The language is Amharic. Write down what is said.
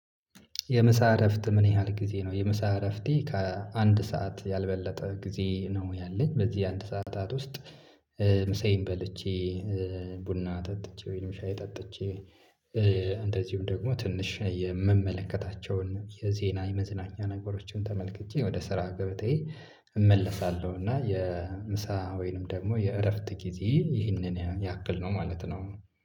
የምሳ እረፍት ምን ያህል ጊዜ ነው? የምሳ እረፍቴ ከአንድ ሰዓት ያልበለጠ ጊዜ ነው ያለኝ በዚህ አንድ ሰዓታት ውስጥ። ምሳዬን በልቼ ቡና ጠጥቼ ወይም ሻይ ጠጥቼ። እንደዚሁም ደግሞ ትንሽ የምመለከታቸውን የዜና የመዝናኛ ነገሮችን ተመልክቼ ወደ ስራ ገበታየ እመለሳለሁ። እና የምሳ ወይንም ደግሞ የእረፍት ጊዜ ይህንን ያክል ነው ማለት ነው።